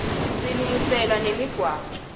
silungiselwaa nemiqwaco